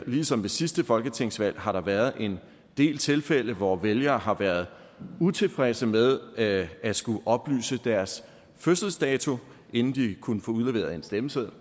ligesom ved sidste folketingsvalg har der været en del tilfælde hvor vælgere har været utilfredse med at skulle oplyse deres fødselsdato inden de kunne få udleveret en stemmeseddel